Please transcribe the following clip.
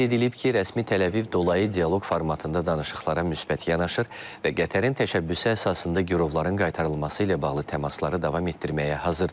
Qeyd edilib ki, rəsmi Təl-Əviv dolayı dialoq formatında danışıqlara müsbət yanaşır və Qətərin təşəbbüsü əsasında girovların qaytarılması ilə bağlı təmasları davam etdirməyə hazırdır.